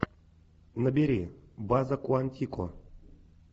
набери база куантико